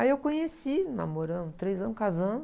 Aí eu conheci, namoramos três anos, casamos.